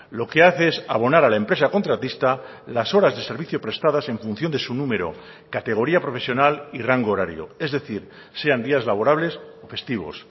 lo que hace es abonar a la empresa contratista las horas de servicio prestadas en función de su número categoría profesional y rango horario es decir sean días laborables o festivos